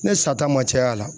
Ne sata ma cay'a la